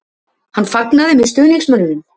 Hann fagnaði með stuðningsmönnunum?